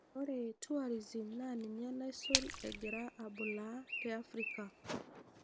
Ore tourism naa ninye naisul egiraa abulaaa te Africa.